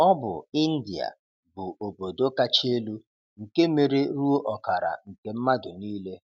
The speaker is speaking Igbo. Ọ bụ India bụ́ obodo kacha elu, nke mere ruo ọkara nke mmadụ niile.